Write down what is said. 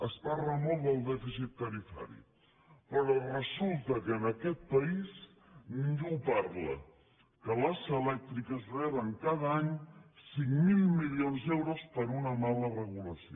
es parla molt del dèficit tarifari però resulta que en aquest país ningú parla que les elèctriques reben cada any cinc mil milions d’euros per una mala regulació